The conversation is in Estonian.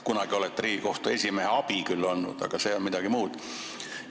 Kunagi olete Riigikohtu esimehe abi küll olnud, aga see on midagi muud.